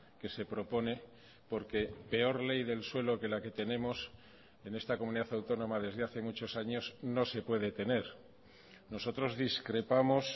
que se propone porque peor ley del suelo que la que tenemos en esta comunidad autónoma desde hace muchos años no se puede tener nosotros discrepamos